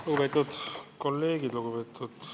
Lugupeetud kolleegid!